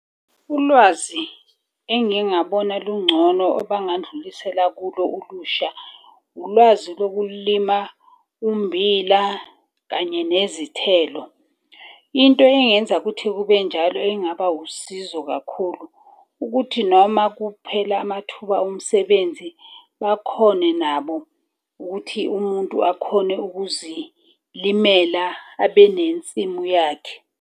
Ulwazi engingabona lungcono abangandlulisela kulo ulusha, ulwazi lokulima ummbila kanye nezithelo. Into engenza ukuthi kube njalo engaba wusizo kakhulu ukuthi noma kuphela amathuba omsebenzi. Bakhone nabo ukuthi umuntu akhone ukuzilimela abe nensimu yakhe.